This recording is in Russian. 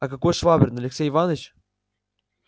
а каков швабрин алексей иваныч